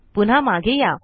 पुन्हा मागे या